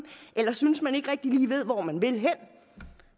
eller synes at man ikke rigtig lige ved hvor man vil hen